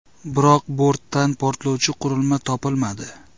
Biroq bortdan portlovchi qurilma topilmadi.